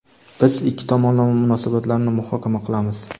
Biz ikki tomonlama munosabatlarni muhokama qilamiz.